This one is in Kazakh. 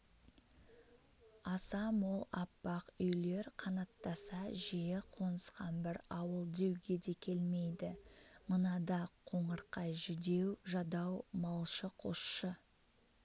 аса мол аппақ үйлер қанаттаса жиі қонысқан бір ауыл деуге де келмейді мынада қоңырқай жүдеу-жадау малшы-қосшы